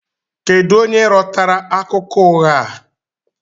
Kedu onye rọtara akụkọ ụgha a?